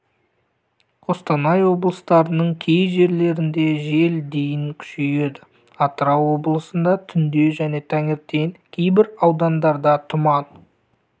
қостанай облыстарының кей жерлерінде жел дейін күшейеді атырау облысында түнде және таңертең кейбір аудандарда тұман